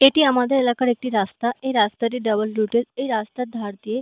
এটি আমাদের এলাকার একটি রাস্তা। রাস্তাটির ডাবল রুট -এর এই রাস্তার ধার দিয়ে--